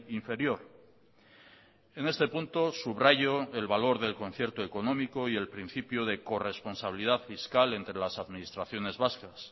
inferior en este punto subrayo el valor del concierto económico y el principio de corresponsabilidad fiscal entre las administraciones vascas